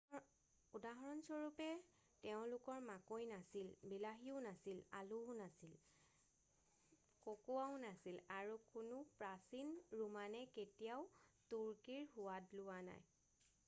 উদাহৰণস্বৰূপে তেওঁলোকৰ মাকৈ নাছিল বিলাহীও নাছিল আলুও নাছিল ককোৱাও নাছিল আৰু কোনো প্ৰাচীন ৰোমানে কেতিয়াও তুৰ্কীৰ সোৱাদ লোৱা নাই